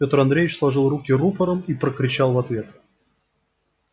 пётр андреевич сложил руки рупором и прокричал в ответ